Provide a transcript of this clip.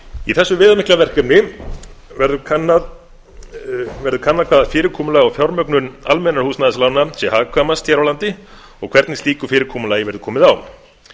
í þessu viðamikla verkefni verður kannað hvaða fyrirkomulag og fjármögnun almennra húsnæðislána sé hagkvæmast hér á landi og hvernig slíku fyrirkomulagi verði komið á